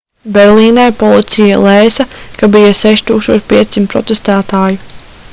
berlīnē policija lēsa ka bija 6500 protestētāju